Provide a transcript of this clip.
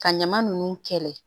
Ka ɲama nunnu kɛlɛ